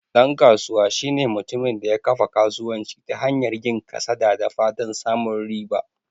Dan kasuwa shine mutumin da ya kafa kasuwanci ta hanyar yin kasada da fatan samun riba.